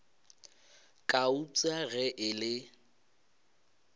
ka eupša ge e le